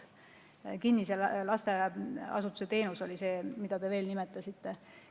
Kinnise lasteasutuse teenus oli see, mida te veel nimetasite.